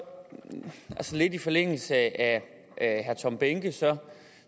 lidt i forlængelse af herre tom behnkes